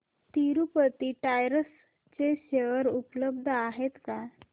Tirupati tyres चे share उपलब्ध आहेत का